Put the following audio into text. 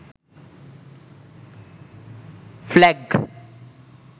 flag